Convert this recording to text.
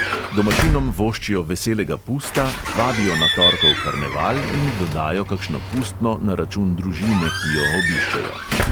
Domačinom voščijo veselega pusta, vabijo na torkov karneval in dodajo kakšno pustno na račun družine, ki jo obiščejo.